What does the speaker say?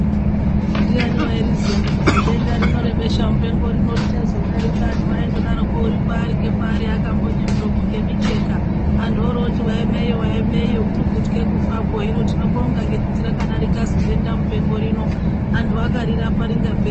Ndiani wairiziya kuti zidenda rino rebesha mupengo richazodarika anhu aindodaroko uripaari ngepaari akambonye miromo ngemicheka anhu orooti waeme iyo waeme iyo kurikutye kufakokwo hino tinobonga ngekuti rakadarika zidenda mupengo rino anhu akarirapa rikapera.